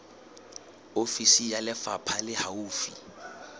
ofisi ya lefapha le haufi